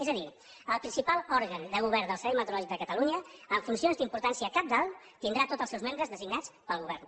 és a dir el principal òrgan de govern del servei meteorològic de catalunya amb funcions d’importància cabdal tindrà tots els seus membres designats pel govern